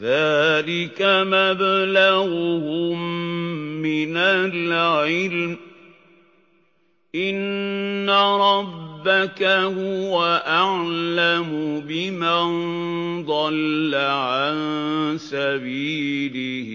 ذَٰلِكَ مَبْلَغُهُم مِّنَ الْعِلْمِ ۚ إِنَّ رَبَّكَ هُوَ أَعْلَمُ بِمَن ضَلَّ عَن سَبِيلِهِ